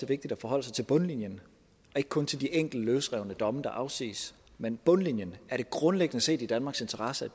vigtigt at forholde sig til bundlinjen og ikke kun til de enkelte løsrevne domme der afsiges men bundlinjen er det grundlæggende set i danmarks interesse at